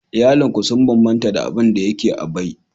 Iyalin ku sun bambanta da abin da yake a bay